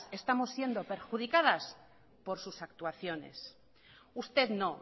estamos siendo perjudicadas por sus actuaciones usted no